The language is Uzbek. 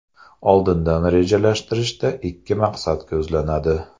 Oldindan rejalashtirishda ikki maqsad ko‘zlanadi.